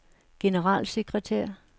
generalsekretær